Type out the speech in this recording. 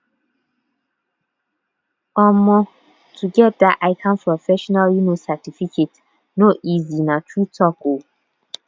um to get dat ican professional um certificate no easy na true talk um